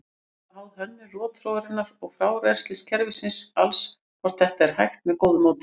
Er það háð hönnun rotþróarinnar og frárennsliskerfisins alls hvort þetta er hægt með góðu móti.